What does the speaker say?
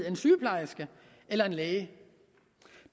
en sygeplejerske eller en læge det